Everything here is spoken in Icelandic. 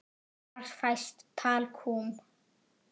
Hvar fæst talkúm?